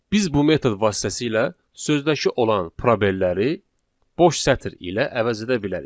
Biz bu metod vasitəsilə sözdəki olan probelləri boş sətr ilə əvəz edə bilərik.